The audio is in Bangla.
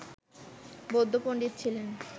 বৌদ্ধ পন্ডিত ছিলেন